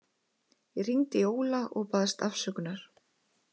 Ég hringdi í Óla og baðst afsökunar.